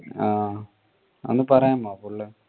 ആ ഒന്ന് പറയാമോ